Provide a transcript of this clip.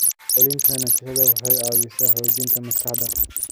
Ku celcelinta nasashada waxay caawisaa xoojinta maskaxda.